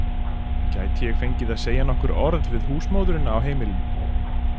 Gæti ég fengið að segja nokkur orð við húsmóðurina á heimilinu?